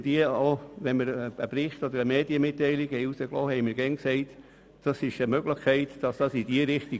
Haben wir einen Bericht oder eine Medienmitteilung herausgegeben, haben wir jeweils festgehalten, diese Richtung sei eine Möglichkeit.